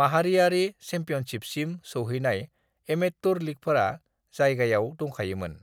माहारियारि चेम्पियनशिपसिम सौहैनाय एमेत्टुर लीगफोरा जायगायाव दंखायोमोन।"